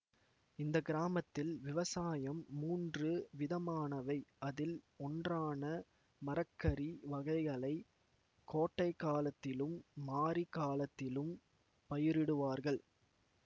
இந்த கிராமத்தில் விவசாயம் மூன்று விதமானவை அதில் ஒன்றான மரக்கறி வகைகளை கோட்டைகாலத்திலும் மாரி காலத்திலும் பயிரிடுவார்கள்